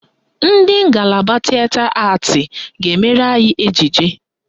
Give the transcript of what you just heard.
Ndị ngalaba Tịeta Atị ga-emere anyị ejije